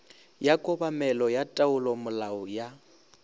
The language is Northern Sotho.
ya kobamelo ya taolomolao ya